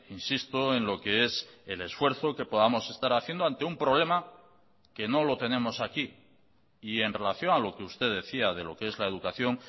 insisto en lo que es el esfuerzo que podamos estar haciendo ante un problema que no lo tenemos aquí y en relación a lo que usted decía de lo que es la educación